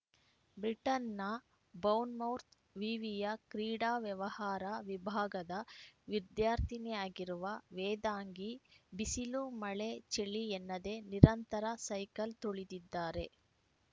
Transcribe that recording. ಬ್ರಿಟನ್‌ನ ಬೌರ್ನ್‌ಮೌತ್‌ ವಿವಿಯ ಕ್ರೀಡಾ ವ್ಯವಹಾರ ವಿಭಾಗದ ವಿದ್ಯಾರ್ಥಿನಿಯಾಗಿರುವ ವೇದಾಂಗಿ ಬಿಸಿಲು ಮಳೆ ಚಳಿ ಎನ್ನದೇ ನಿರಂತರ ಸೈಕಲ್‌ ತುಳಿದಿದ್ದಾರೆ